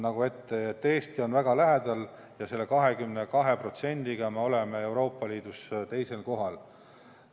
Nii et Eesti on väga lähedal ja selle 22%-ga oleme Euroopa Liidus teisel kohal.